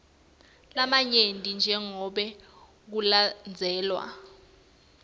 lamanyenti njengobe kulandzelwe